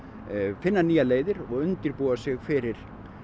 finna nýjar leiðir og undirbúa sig fyrir